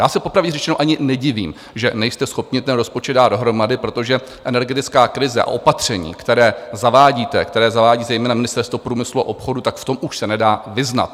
Já se popravdě řečeno ani nedivím, že nejste schopni ten rozpočet dát dohromady, protože energetická krize a opatření, která zavádíte, která zavádí zejména Ministerstvo průmyslu a obchodu, tak v tom už se nedá vyznat.